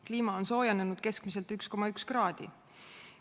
Kliima on soojenenud keskmiselt 1,1 kraadi.